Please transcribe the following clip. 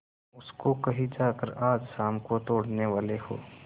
उसको कहीं जाकर आज शाम को तोड़ने वाले हों